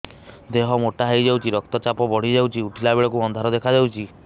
ଦେହ ମୋଟା ହେଇଯାଉଛି ରକ୍ତ ଚାପ ବଢ଼ି ଯାଉଛି ଉଠିଲା ବେଳକୁ ଅନ୍ଧାର ଦେଖା ଯାଉଛି